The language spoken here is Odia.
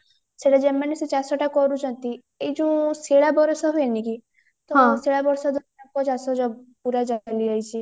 ସେଟା ମାନ ସେ ଚାଷଟା କରୁଚନ୍ତି ଏଇ ଯୋଉ ଶିଳା ବରଷା ହୁଏନି କି ତ ଶିଳା ବରଷା